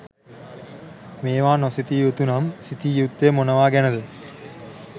මේවා නොසිතිය යුතු නම්, සිතිය යුත්තේ් මොනවා ගැන ද?